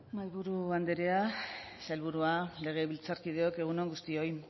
mahaiburu andrea sailburua legebiltzarkideok egun on guztioi